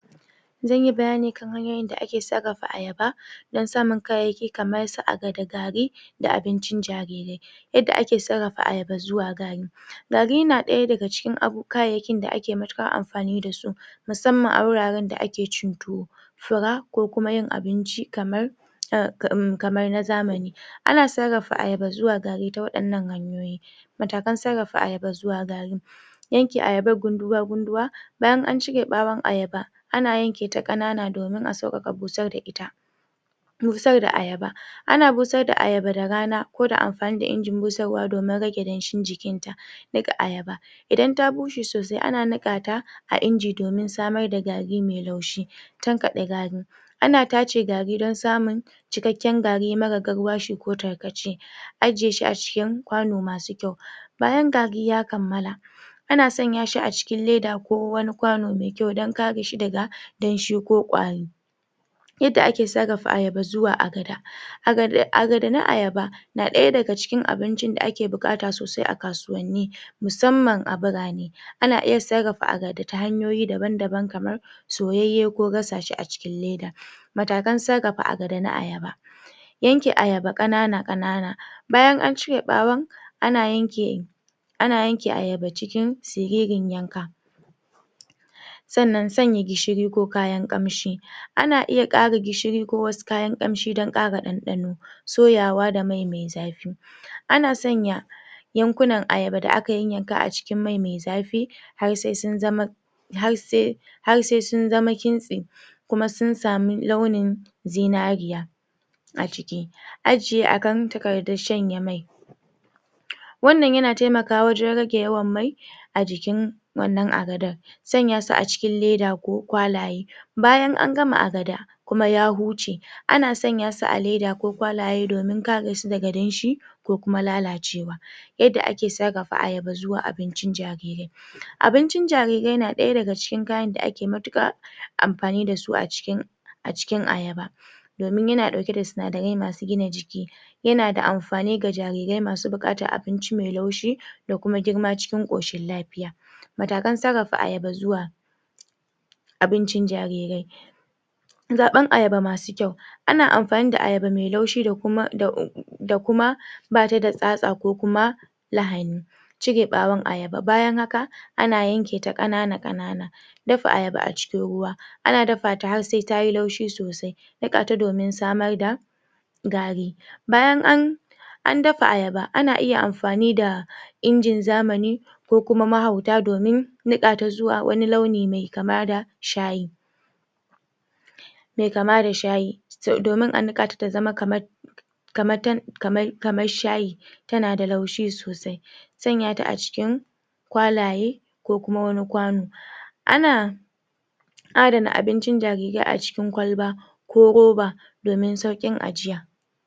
Zanyi bayani kan hanyoyin da ake sarrafa ayaba don sanun kayayyaki kaman su agada gari, da abincin jarirai. Yadda ake sarrafa ayaba zuwa gari. Gari yana daya daga cikin kayayyaki da ake matukar afani dasu musamman a wuraren da ake cin tuwo Fura, ko kuma yin abinci kamar ah um kamar na zamani. Ana sarrafa ayaba zuwa garri ta wadannan hanyoyi Matakan sarrafa ayaba zuwa gari Yanke ayaban gunduwa gunduwa bayan an cire Bawon ayaba ana yanka ta kanana domin a saukaka busar da ita Busar da ayaba ana busar da ayaba da rana ko fa amfani da injin busarwa domin rage danshin jikin ta dik ayba Idan ta bushe sosai ana nika ta inji domin samar da gari mai laushi Tankade gar Ana tace gari don samun cikakken gari mara garwashi ko tarkaceAjiyeshi Ajiyeshi acikin Kwano masu kyau Bayan gari ya kammala ana sanya shi ne acikin Leda ko wni Kwano dan kare shi daha danshi ko kwar Yadda ake sarrafa ayaba zuwa agada agada agada na ayaba Na daya daga cikinAgada na ayaba na daya daga cikin abincin da ake bukata sosai a kasuwanni musamman a biran Ana iya sarrafa agada ta hanyoyi daban daban kamar soyayye ko gasashi acikin leda Matakan sarrafa agada Na ayaba Yanke ayaba kanana kanana bayan an cire bawon ana yanke ana yanke ayaba cikin siririn yanka? Sannan sanya gishiri ko kayan kamshi Ana iya kara gishiri ko wasu kayan kamshi don kara dandano. Soyawa da mai mai zafi Ana sanya yankunan ayaba da aka yayanka a cikin mai mai zafi har sai har sai sun zama harse har sai sun zama kintse kuma sun samu launin zinariya aciki Ajiye akan takardan shanye mai Wannan yana taimaka wa wajen rage yawan mai a jikin wannan agadar Sanya su acikin leda ko kwalaye Bayan an gama agada kuma ya huce ana sanya su a leda ko kwalaye domin kare su daga danshi ko kuma lalacewa Yadda ake sarrafa ayaba zuwa abincin jarirai: Abincin jarirai na daya daga cikin kayan da ake matukar amfani dasu acikin acikin ayaba domin yana dauke da sinadarai masu gina jiki Yana da amfani ga jarirai masu bukatan abinci mai laushi da kuma girma cikin koshin lafiya Matakan sarrafa ayaba zuwa abincin jarira :Zaban ayaba masu kyau Ana amfani da ayaba masu laushi da kuma, bani da tsatsa ko kuma lahani Cire bawon ayaba:Bayan haka, ana yanke ta kanana kanana Dafa ayaba a cikin ruwa Ana dafa ta har sai tayi laushi sosai. Nika ta domin samar da garri Bayan an an dafa ayaba ana iya amfani da injin zamani ko kuma mahauta domin nika ta zuwa wani launi mai kama da shayi mai kama da shayi domin a nika ta zama kaman kama tan kama kama shayi tana da laushi sosai sanya shi acikin kwalaye ko kuma wani kwanu ana ana aje abincin jariria a cikin kwalba ko ruba domin saukin ajiya